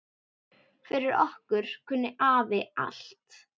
Fyrir okkur kunni afi allt.